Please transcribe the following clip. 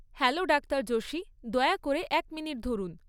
Hello doctor Joshi, দয়া করে এক মিনিট ধরুন।